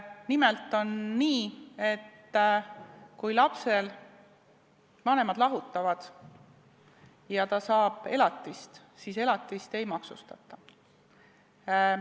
Nimelt on nii, et kui lapse vanemad lahutavad ja ta saab elatist, siis seda ei maksustata.